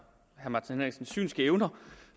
hans synske evner